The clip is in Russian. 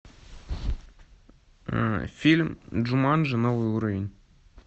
фильм джуманджи новый уровень